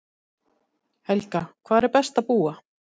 Helga: Hvar er best að búa?